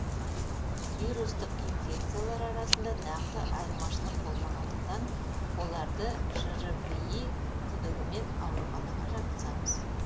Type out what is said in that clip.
вирустық инфекциялар арасында нақты айырмашылық болмағандықтан оларды жрви күдігімен ауруханаға жатқызамыз